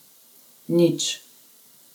Nič.